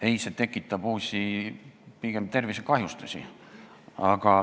Ei, see tekitab pigem uusi tervisekahjustusi.